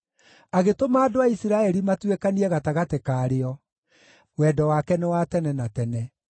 agĩtũma andũ a Isiraeli matuĩkanie gatagatĩ karĩo, Wendo wake nĩ wa tene na tene.